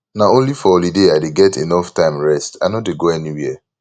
na only for holiday i dey get enough time rest i no dey go anywhere